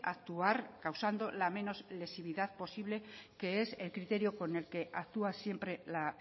actuar causando la menos lesividad posible que es el criterio con el que actúa siempre la